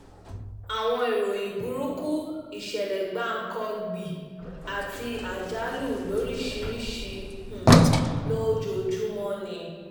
àwọn ìròyìn burúkú ìṣẹ̀lẹ̀ gbankọgbì àti àjálù lórìṣìiríṣìí um lójoojúmọ́ ni